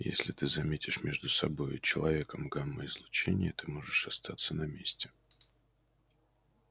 если ты заметишь между собой и человеком гамма-излучение ты можешь остаться на месте